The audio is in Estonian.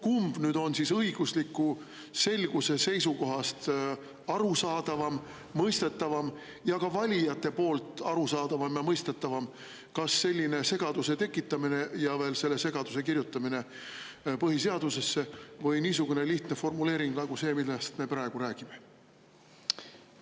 Kumb on õigusliku selguse seisukohast arusaadavam, mõistetavam, ka valijatele arusaadavam ja mõistetavam, kas selline segaduse tekitamine ja selle segaduse kirjutamine ka põhiseadusesse või niisugune lihtne formuleering nagu see, millest me praegu räägime?